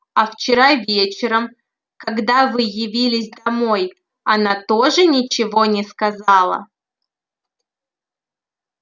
а вчера вечером когда вы явились домой она тоже ничего не сказала